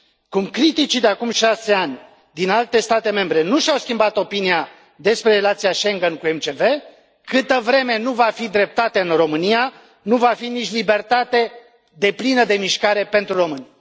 Cum criticii de acum 6 ani din alte state membre nu și au schimbat opinia despre relația Schengen MCV, câtă vreme nu va fi dreptate în România, nu va fi nici libertate deplină de mișcare pentru români.